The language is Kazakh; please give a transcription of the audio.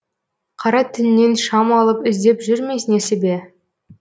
қара түннен шам алып іздеп жүр ме несібе